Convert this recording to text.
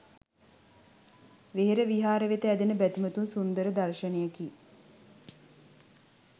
වෙහෙර විහාර වෙත ඇදෙන බැතිමතුන් සුන්දර දර්ශනයකි.